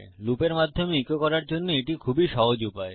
লুপের মাধ্যমে ইকো করার জন্য এটি খুবই সহজ উপায়